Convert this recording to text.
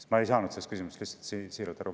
Siiralt, et ma ei saanud sellest küsimusest aru.